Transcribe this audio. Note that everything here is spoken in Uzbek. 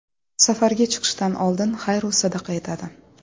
Safarga chiqishdan oldin xayr-u sadaqa etadi.